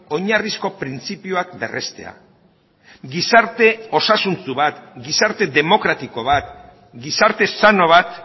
oinarrizko printzipioak berrestea gizarte osasuntsu bat gizarte demokratiko bat gizarte sano bat